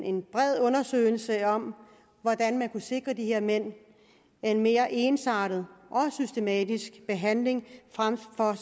en bred undersøgelse om hvordan man kunne sikre de her mænd en mere ensartet og systematisk behandling frem for at